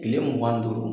Kile mugan ni duuru